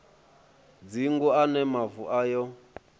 dzingu a ne mavu ayo